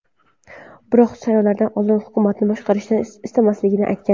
Biroq saylovlardan oldin hukumatni boshqarishni istamasligini aytgan.